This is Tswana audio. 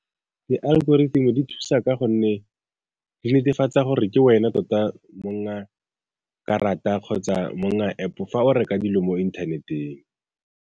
Di-algorithm-e di thusa ka gonne di netefatsa gore ke wena tota mong wa karata kgotsa mong wa App-o fa o reka dilo mo inthaneteng.